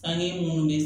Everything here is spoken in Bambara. An ye mun de